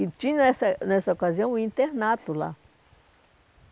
E tinha, nessa nessa ocasião, um internato lá.